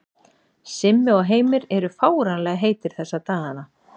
Simmi og Heimir eru fáránlega heitir þessa dagana.